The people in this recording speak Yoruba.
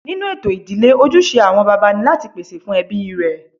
Nínú ètò ìdílé, ojúṣe àwọn bàbá ni láti pèsè fún ẹbí rẹ̀